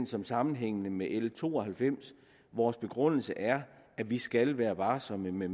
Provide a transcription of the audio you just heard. som sammenhængende med l to og halvfems vores begrundelse er at vi skal være varsomme med